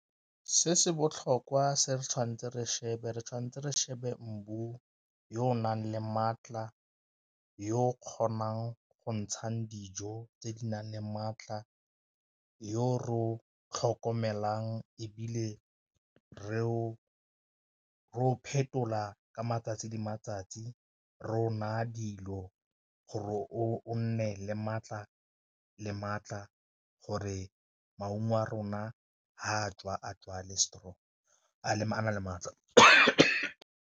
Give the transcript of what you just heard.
Se se botlhokwa se re tshwanetse re shebe re tshwanetse re shebe yo o nang le maatla yo kgonang go ntshang dijo tse di nang le maatla, yo re o tlhokomelang ebile re o phetola ka matsatsi di matsatsi, re o naya dilo gore o nne le maatla le maatla gore maungo a rona fa a tswa a tswa le strong a na le maatla .